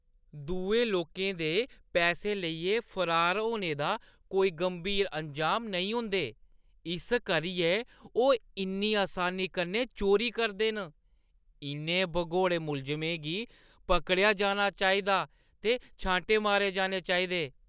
दुए लोकें दे पैसे लेइयै फरार होने दा कोई गंभीर अंजाम नेईं होंदे, इस करियै ओह् इन्नी असानी कन्नै चोरी करदे न। इʼनें भगौड़े मुलजमें गी पकड़ेआ जाना चाहिदा ते छांटे मारे जाने चाहिएं।